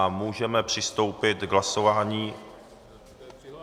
A můžeme přistoupit k hlasování...